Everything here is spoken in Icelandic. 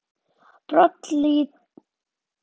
Brotalínur í berggrunni stýra tíðum árrofi.